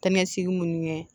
Ta ni ka segin munnu ye